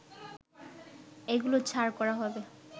এগুলো ছাড় করা হবে